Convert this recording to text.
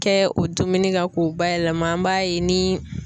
Kɛ o dumuni kan k'o bayɛlɛma an b'a ye ni